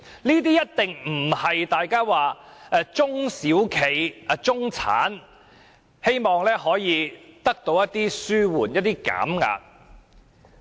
這一定不是大家口中的中小企或中產人士所希望得到的紓緩、減壓效果。